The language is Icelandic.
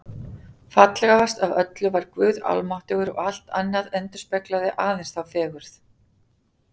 Fallegast af öllu var Guð almáttugur og allt annað endurspeglaði aðeins þá fegurð.